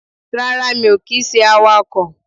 Rárá mi ò kì í se awakọ̀